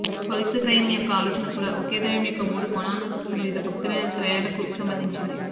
పవిత్ర త్రయం యొక్క ఆలోచన కూడా ఒకే దైవం యొక్క మూడు కోణాలను తీసుకునే వివిధ భక్తులైన త్రయాలకు సంబంధించినది